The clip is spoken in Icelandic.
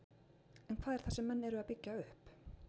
En hvað er það sem menn eru að byggja upp?